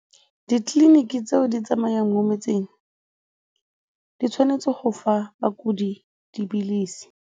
Ditleliniki tseo di tsamayang mo metseng di tshwanetse go fa bakudi dipilisi.